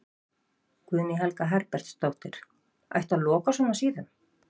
Guðný Helga Herbertsdóttir: Ætti að loka svona síðum?